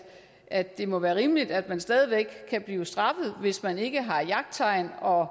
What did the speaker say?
at det må være rimeligt at man stadig væk kan blive straffet hvis man ikke har jagttegn og